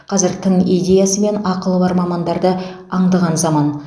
қазір тың идеясы мен ақылы бар мамандарды аңдыған заман